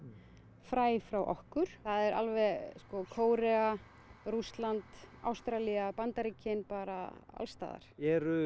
fræ frá okkur það er alveg sko Kórea Rússland Ástralía Bandaríkin bara alls staðar eru